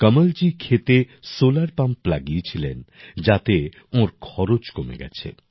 কমলজী ক্ষেতে solar pump লাগিয়েছিলেন যাতে ওঁর খরচ কমে গেছে